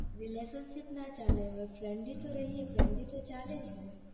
relationship ના friendly તો રૈને friendly તો ચાલે જ ને